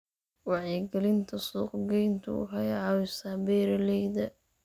Wacyigelinta suuqgeyntu waxay caawisaa beeralayda.